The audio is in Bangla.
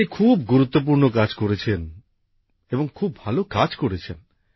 আপনি খুব গুরুত্বপূর্ণ কাজ করেছেন এবং খুব ভালো কাজ করেছেন